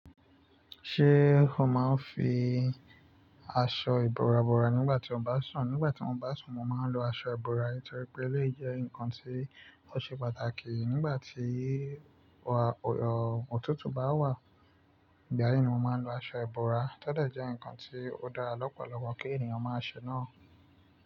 Ṣé o máa ń fi aṣọ ìbora bora nígbà tí o bá sùn? Nígbà tí mo bá sùn, mo máa ń lo aṣọ ìbora torí pé eleyi jẹ nǹkan tí ó ṣe pàtàkì nígbà tí ọ̀tútù bá wà. Ìgbà yìí ni mo máa ń lo aṣọ ìbora, tọ́dẹ̀ jẹ́ ǹkan tí ó dára lọ́pọ̀lọpọ̀ kí ènìyàn máa ṣe náà.